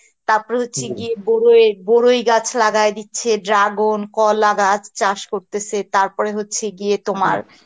তারপর হচ্ছে গিয়ে বড়য়ে বড়ুই গাছ লাগাই দিচ্ছে, dragon, কলা গাছ, চাস করতেসে তার পরে হচ্ছে গিয়ে তোমার